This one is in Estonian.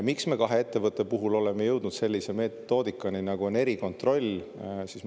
Miks me kahe ettevõtte puhul oleme jõudnud sellise metoodikani, nagu on erikontroll?